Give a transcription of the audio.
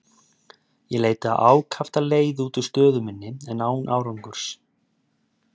Ég leitaði ákaft að leið út úr stöðu minni, en án árangurs.